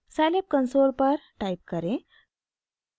scilab console पर type करें